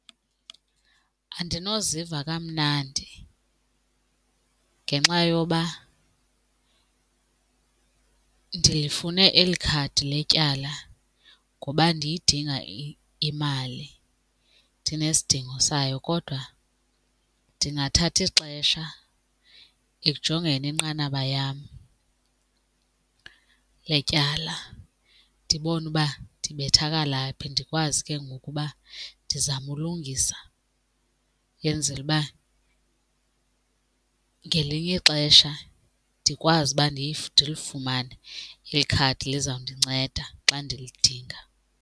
Andinoziva kamnandi ngenxa yoba ndilifune eli khadi letyala ngoba ndiyidinga imali ndinesidingo sayo kodwa ndingathatha ixesha ekujongeni inqanaba yam letyala ndibone uba ndibethakala phi ndikwazi ke ngoku uba ndizame ukulungisa, ndenzele uba ngelinye ixesha ndikwazi uba ndilifumane, ikhadi lizawundinceda xa ndilidinga.